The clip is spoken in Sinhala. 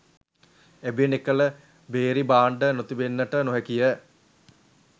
එබැවින් එකල භේරී භාණ්ඩ නොතිබෙන්නට නොහැකිය